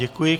Děkuji.